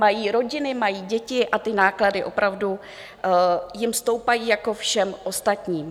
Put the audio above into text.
Mají rodiny, mají děti a ty náklady opravdu jim stoupají jako všem ostatním.